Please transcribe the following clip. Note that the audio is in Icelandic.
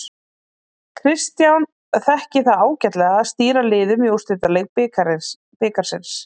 Kristján þekki það ágætlega að stýra liðum í úrslitaleik bikarsins.